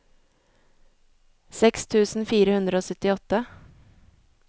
seks tusen fire hundre og syttiåtte